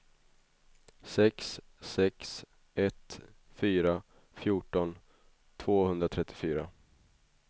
sex sex ett fyra fjorton tvåhundratrettiofyra